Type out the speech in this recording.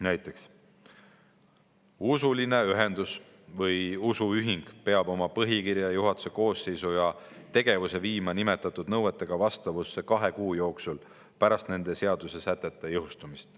Näiteks, usuline ühendus või usuühing peab oma põhikirja, juhatuse koosseisu ja tegevuse viima nimetatud nõuetega vastavusse kahe kuu jooksul pärast nende seadusesätete jõustumist.